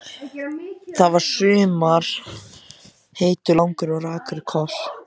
Það var í sumar heitur, langur og rakur koss.